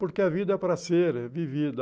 Porque a vida é para ser vivida.